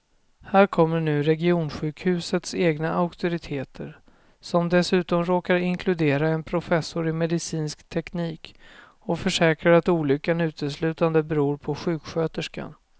Här kommer nu regionsjukhusets egna auktoriteter som dessutom råkar inkludera en professor i medicinsk teknik och försäkrar att olyckan uteslutande beror på sjuksköterskan.